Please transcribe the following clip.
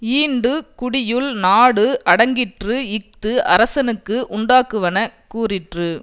ஈண்டு குடியுள் நாடு அடங்கிற்று இஃது அரசனுக்கு உண்டாக்குவன கூறிற்று